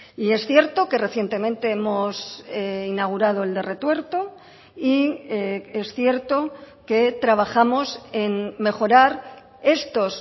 y es cierto que recientemente hemos inaugurado el de retuerto y es cierto que trabajamos en mejorar estos